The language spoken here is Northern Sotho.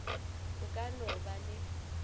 o ka no ba le